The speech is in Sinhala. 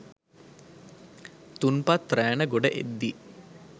තුන්පත් රෑන ගොඩ එද්දී